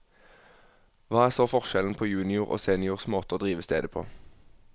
Hva er så forskjellen på junior og seniors måte å drive stedet på?